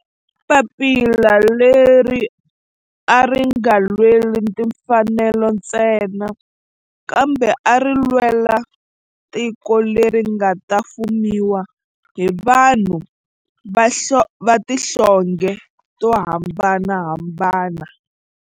Papila leri a ri nga lweli timfanelo ntsena kambe ari lwela tiko leri nga ta fumiwa hi vanhu va tihlonge to hambanahambana.